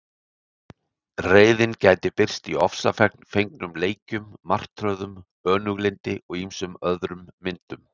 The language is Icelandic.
Reiðin gæti birst í ofsafengnum leikjum, martröðum, önuglyndi og ýmsum öðrum myndum.